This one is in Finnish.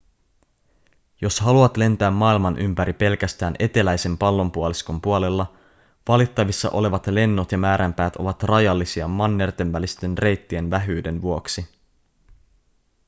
jos haluat lentää maailman ympäri pelkästään eteläisen pallonpuoliskon puolella valittavissa olevat lennot ja määränpäät ovat rajallisia mannertenvälisten reittien vähyyden vuoksi